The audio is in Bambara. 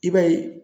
I b'a ye